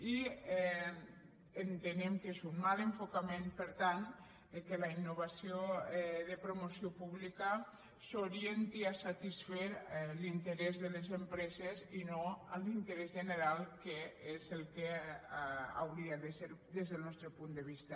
i entenem que és un mal enfocament per tant que la innovació de promoció pública s’orienti a satisfer l’interès de les empreses i no l’interès general que és el que hauria de ser des del nostre punt de vista